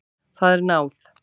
Það er náð.